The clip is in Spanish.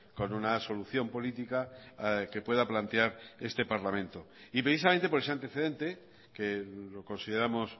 con una solución política que pueda plantear este parlamento y precisamente por ese antecedente que lo consideramos